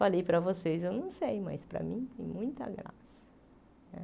Falei para vocês, eu não sei, mas para mim tem muita graça.